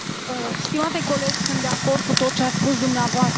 Stimate coleg, sunt de acord cu tot ce ați spus dumneavoastră.